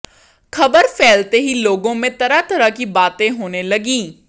खबर फैलते ही लोगों में तरह तरह की बातें होने लगीं